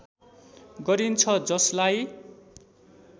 गरिन्छ जसलाई